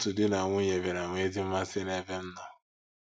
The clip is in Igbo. Tu di na nwunye bịara nwee ezi mmasị n’ebe m nọ.